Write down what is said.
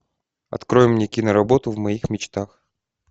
открой мне киноработу в моих мечтах